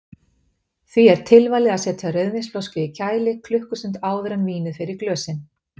Því er tilvalið að setja rauðvínsflösku í kæli klukkustund áður en vínið fer í glösin.